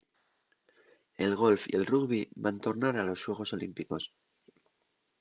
el golf y el rugbi van tornar a los xuegos olímpicos